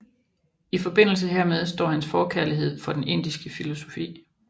I forbindelse hermed står hans forkærlighed for den indiske filosofi